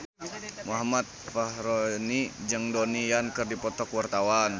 Muhammad Fachroni jeung Donnie Yan keur dipoto ku wartawan